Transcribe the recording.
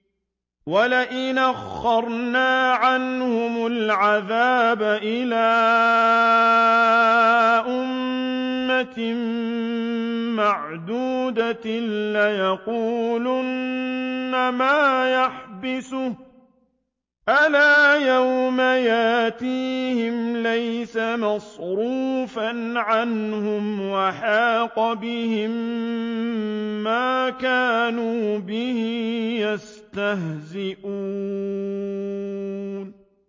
وَلَئِنْ أَخَّرْنَا عَنْهُمُ الْعَذَابَ إِلَىٰ أُمَّةٍ مَّعْدُودَةٍ لَّيَقُولُنَّ مَا يَحْبِسُهُ ۗ أَلَا يَوْمَ يَأْتِيهِمْ لَيْسَ مَصْرُوفًا عَنْهُمْ وَحَاقَ بِهِم مَّا كَانُوا بِهِ يَسْتَهْزِئُونَ